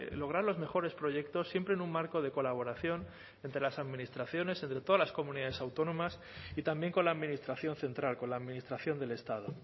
lograr los mejores proyectos siempre en un marco de colaboración entre las administraciones entre todas las comunidades autónomas y también con la administración central con la administración del estado